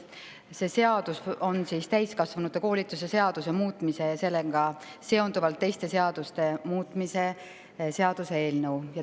Selle seadus on täiskasvanute koolituse seaduse muutmise ja sellega seonduvalt teiste seaduste muutmise seadus.